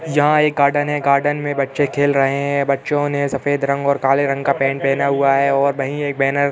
यहाँ एक गार्डन है। गार्डन में बच्चे खेल रहे हैं। बच्चों ने सफ़ेद रंग और काले रंग का पैन्ट पहना है और वहीं एक बैनर --